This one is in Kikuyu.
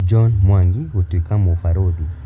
John Mwangi gũtũĩka mũbarũthi